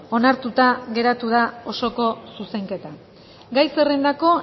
onartuta geratu da osoko zuzenketa gai zerrendako